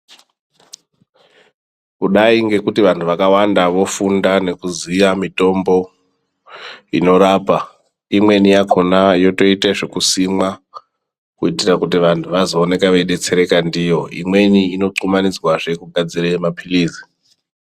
Kudai ngekuti vantu vakawanda vofunda nekuziya mitombo inorapa, imweni yakona yotoita zvokusimwa kuitira kuti vantu vazoonekwa veidetsereka ndiyo imweni inokumanidzwazve kugadzire mapilizi.